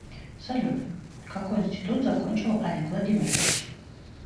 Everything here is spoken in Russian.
салют какой институт закончил олег владимирович